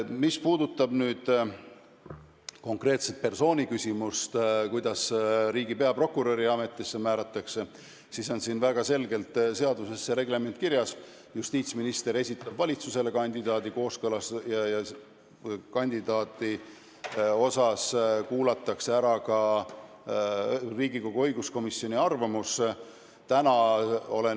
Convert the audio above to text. Mis puudutab konkreetse persooni küsimust, riigi peaprokuröri ametisse määramist, siis on seaduses väga selgelt reglement kirjas: justiitsminister esitab valitsusele kandidaadi ja kuulatakse ära ka Riigikogu õiguskomisjoni arvamus.